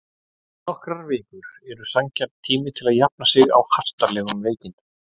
Nokkrar vikur eru sanngjarn tími til að jafna sig á hastarlegum veikindum.